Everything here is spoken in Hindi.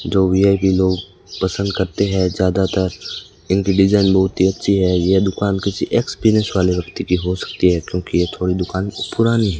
जो वी_आई_पी लोग पसंद करते हैं ज्यादातर इंटेलिजन बहुत ही अच्छी है ये दुकान की किसी एक्सपीरियंस वाले व्यक्ति की हो सकती है क्योंकि ये थोड़ी दुकान पुरानी है।